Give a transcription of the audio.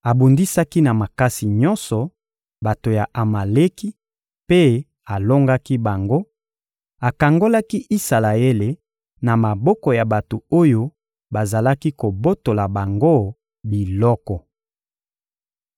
Abundisaki na makasi nyonso bato ya Amaleki mpe alongaki bango, akangolaki Isalaele na maboko ya bato oyo bazalaki kobotola bango biloko.